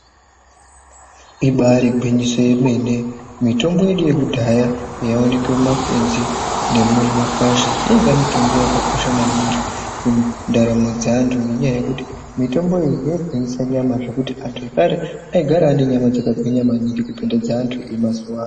Ibari gwinyiso yemene. Mitombo yedu yekudhaya yaioneke mumakwenzi nemumakwasha yainga mitombo yakakosha maningi mundaramo dzeantu ngenyaya yekuti mitombo iyi yaigwinyisa nyama zvekuti antu ekare aigara ane nyama dzakagwinya maningi kupinda dzeantu emazuwa ano.